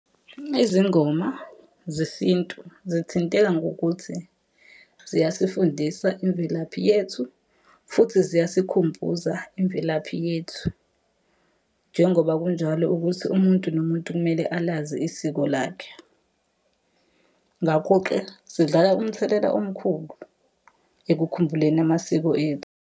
Izingoma zesintu zithinteka ngokuthi ziyasifundisa imvelaphi yethu, futhi ziyasikhumbuza imvelaphi yethu. Njengoba kunjalo ukuthi umuntu nomuntu kumele alazi isiko lakhe. Ngakho-ke zidlala umthelela omkhulu, ekukhumbuleni amasiko ethu.